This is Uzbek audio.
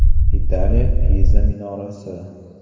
Italiya Piza minorasi.